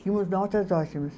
Tínhamos notas ótimas.